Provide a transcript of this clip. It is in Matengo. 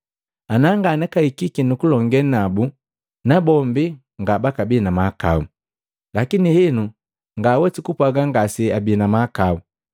Ana nganakahikiki nukulonge nabu nabombi ngabakabii namahakao, lakini henu nganhwesi kupwaga ngase abii na mahakau.